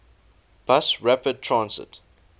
bus rapid transit